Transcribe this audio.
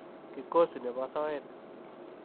kikosi ne bo soet.